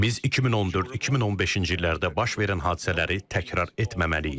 Biz 2014-2015-ci illərdə baş verən hadisələri təkrar etməməliyik.